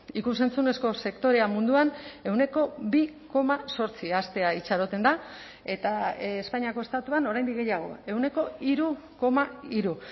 ikus entzunezko sektorea munduan ehuneko bi koma zortzi haztea itxaroten da eta espainiako estatuan oraindik gehiago ehuneko hiru koma hiru